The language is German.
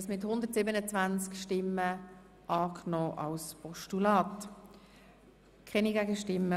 Sie haben das Postulat einstimmig angenommen.